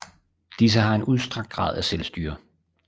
Disse har en udstrakt grad af selvstyre